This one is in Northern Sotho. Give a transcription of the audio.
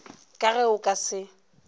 ka ge o ka se